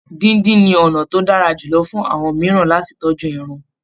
Díndín ni ọ̀nà tó dára jùlọ fún àwọn mìíràn lati tọ́jú ẹran